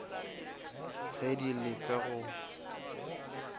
ge di le ka go